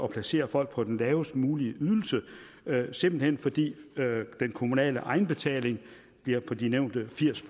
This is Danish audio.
placere folk på den lavest mulige ydelse simpelt hen fordi den kommunale egenbetaling bliver på de nævnte firs